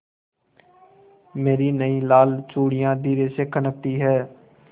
मेरी नयी लाल चूड़ियाँ धीरे से खनकती हैं